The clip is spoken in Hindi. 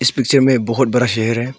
पिक्चर में बहोत बड़ा शहर है।